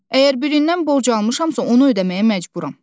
Əgər birindən borc almışamsa, onu ödəməyə məcburam.